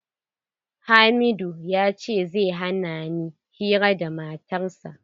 Hamidu ya ce zai hana ni hira da matar sa.